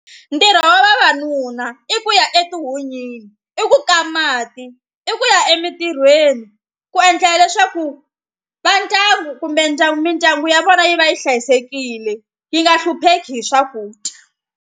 Ntirho wa vavanuna i ku ya etihunyini i ku ka mati i ku ya emitirhweni ku endlela leswaku va ndyangu kumbe ndyangu mindyangu ya vona yi va yi hlayisekile yi nga hlupheki hi swakudya.